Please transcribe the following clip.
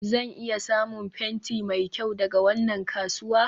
zan iya samun fenti mai kyau daga wannan kasuwa?